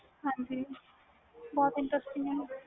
ਹਾਜੀ ਬਹੁਤ inserting ਆ